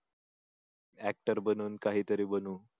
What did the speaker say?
actor बनू काहीतरी बनू